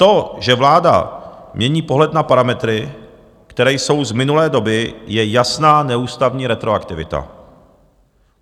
To, že vláda mění pohled na parametry, které jsou z minulé doby, je jasná neústavní retroaktivita.